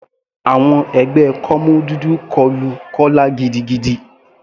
Àwọn ẹgbẹ́ kọ́mú dúdú kọlu Kọla gidigidi.